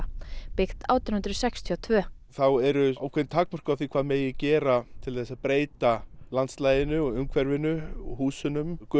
byggt átján hundruð sextíu og tvö þá eru ákveðin takmörk á því hvað má gera til þess að breyta landslaginu og umhverfinu og húsinu